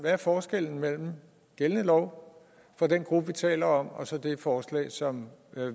er forskellen mellem gældende lov for den gruppe vi taler om og så det forslag som